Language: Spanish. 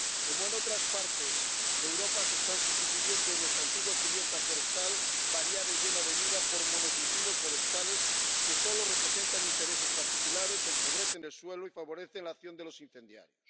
Como en otras partes de Europa, se está sustituyendo nuestra antigua cubierta forestal —variada y llena de vida— por monocultivos forestales que solo representan intereses particulares, empobrecen el suelo y favorece la acción de los incendiarios.